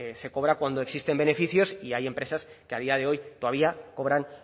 se cobra cuando existen beneficios y hay empresas que a día de hoy todavía cobran